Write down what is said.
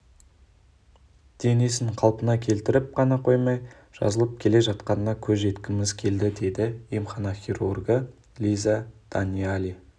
денесін қалпына келтіріп қана қоймай жазылып келе жатқанына көз жеткізгіміз келді деді емхана хирургі лиза даниали